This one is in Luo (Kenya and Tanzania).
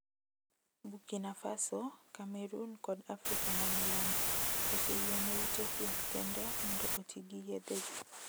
"Burkina Faso, Cameroon kod Afrika ma Milambo oseyiene ute thieth kende mondo oti gi yethegi.